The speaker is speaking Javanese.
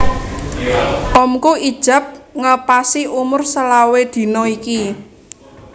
Omku ijab ngepasi umur selawe dino iki